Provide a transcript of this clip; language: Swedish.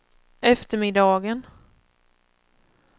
eftermiddagen